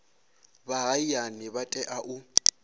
vha hayani vha tea u